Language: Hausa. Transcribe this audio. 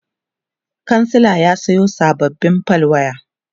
kansila ya Sayo sababbin fal waya